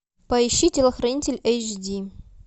поищи телохранитель эйч ди